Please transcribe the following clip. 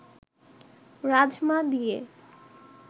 রাজমা দিয়ে